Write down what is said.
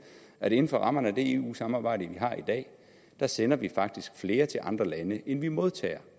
at inden for rammerne af det eu samarbejde vi har i dag sender vi faktisk flere til andre lande end vi modtager